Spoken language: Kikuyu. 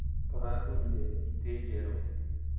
Tũragũrire itĩ njerũ